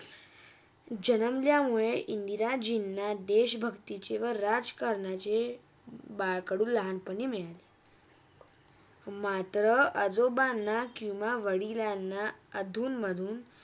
जन्मल्यामुळे इंदिराजिंन देश भक्तीची व राजकरणाची, बाळकडू लहानपनी मिळते माता, आजोबांला व किवा वडिलांना आतुन - मधुन